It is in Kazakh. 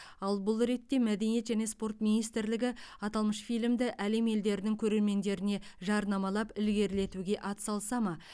ал бұл ретте мәдениет және спорт министрлігі аталмыш фильмді әлем елдерінің көрермендеріне жарнамалап ілгерілетуге атсалыса ма